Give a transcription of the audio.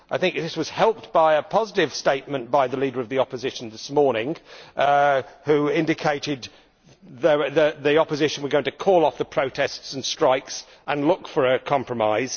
I think this will be helped by a positive statement from the leader of the opposition this morning, who indicated that the opposition was going to call off the protests and strikes and look for a compromise.